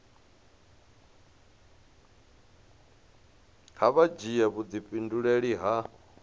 kha vha dzhia vhudifhinduleli ha